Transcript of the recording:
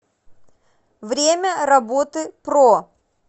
время работы про